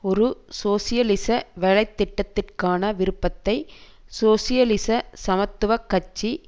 ஒரு சோசியலிச வேலைத்திட்டத்திற்கான விருப்பத்தை சோசியலிச சமத்துவ கட்சி